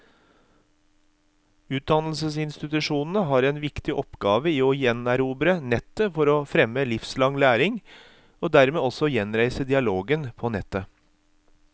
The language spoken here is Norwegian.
Utdannelsesinstitusjonene har en viktig oppgave i å gjenerobre nettet for å fremme livslang læring, og dermed også gjenreise dialogen på nettet.